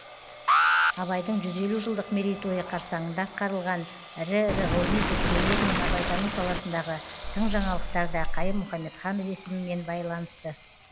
абайдың жүз елу жылдық мерейтойы қарсаңында атқарылған ірі ірі ғылыми зерттеулер мен абайтану саласындағы тың жаңалықтар да қайым мұхамедханов есімімен байланысты